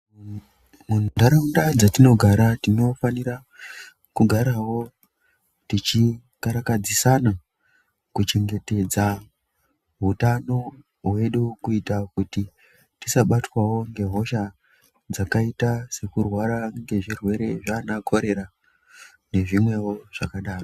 Muntaraunda dzatinogara tinofanira kugarawo tichikarakadzisana kuchengetedza hutano hwedu kuita kuti tisabatwawo ngehosha dzakaita sekurwara ngezvirwere zvana korera ngezvimwewo zvakadero.